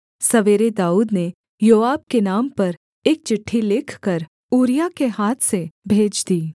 सवेरे दाऊद ने योआब के नाम पर एक चिट्ठी लिखकर ऊरिय्याह के हाथ से भेज दी